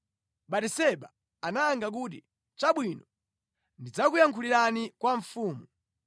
Batiseba anayankha kuti, “Chabwino. Ndidzakuyankhulira kwa mfumu.”